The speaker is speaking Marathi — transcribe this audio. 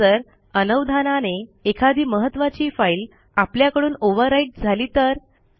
आता जर अनवधानाने एखादी महत्त्वाची फाईल आपल्याकडून ओव्हरराईट झाली तर